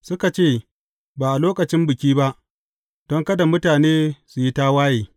Suka ce, Ba a lokacin Biki ba, don kada mutane su yi tawaye.